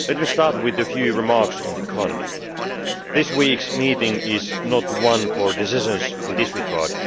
Let me start with a few remarks on the economy. This week's meeting is not one for decisions in this regard.